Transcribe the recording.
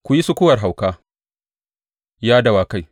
Ku yi sukuwar hauka, ya dawakai!